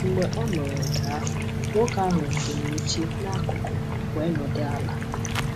Mgbe ọ nụrụ nke ahụ, nwoke ahụ wutere oche n’akụkụ wee nọdụ ala.